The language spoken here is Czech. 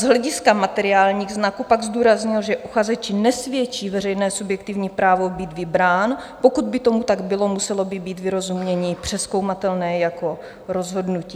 Z hlediska materiálních znaků pak zdůraznil, že uchazeči nesvědčí veřejné subjektivní právo být vybrán - pokud by tomu tak bylo, muselo by být vyrozumění přezkoumatelné jako rozhodnutí.